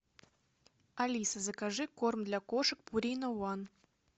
алиса закажи корм для кошек пурина ван